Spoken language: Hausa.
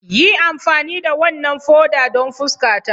Yi amfani da wannan foda don fuskata!